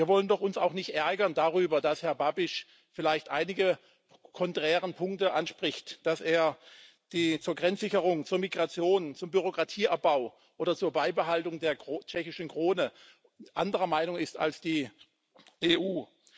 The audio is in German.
Wir wollen uns doch auch nicht darüber ärgern, dass Herr Babiš vielleicht einige konträre Punkte anspricht, dass er zur Grenzsicherung, zur Migration, zum Bürokratieabbau oder zur Beibehaltung der Tschechischen Krone anderer Meinung ist als die EU.